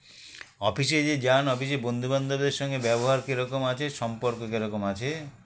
office -এ যে যান office -এ বন্ধুবান্ধবদের সঙ্গে ব্যবহার কিরকম আছে সম্পর্ক কিরকম আছে